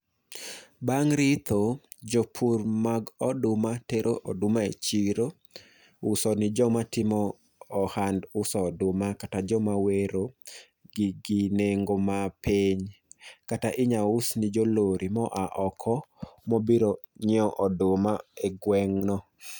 Bang' ritho, jopur mag oduma tero oduma e chiro, uso nijoma timo ohand uso oduma kata joma wero gi gi nengo mapiny. Kata inyaus ni jo lori moa oko mobiro nyiewo oduma e gweng' no.